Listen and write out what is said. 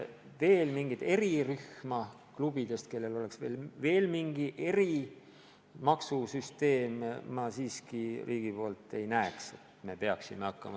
Veel mingit erirühma, kuhu kuuluksid klubid, kelle puhul kehtiks mingi eri maksusüsteem, minu arvates riik looma ei peaks hakkama.